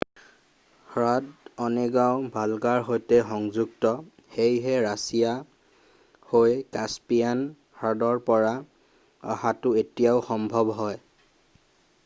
হ্ৰদ অনেগাও ভল্গাৰ সৈতে সংযুক্ত সেয়ে ৰাছিয়া হৈ কাস্পিয়ান হ্ৰদৰ পৰা অহাটো এতিয়াও সম্ভৱ হয়৷